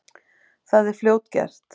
Það er fljótgert.